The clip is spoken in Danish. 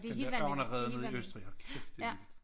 Den dér ørnerede nede i Østrig hold kæft det vildt